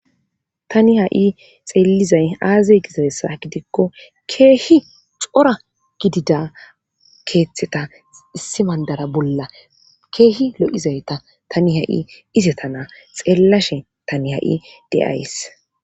Tani ha7i xeellizay aazey gizaessa gidikko keehi xora gidida keeththeta issi bandara bolla keehi lo7izayta tani ha7i izetana xeellashe tani ha7i de7ays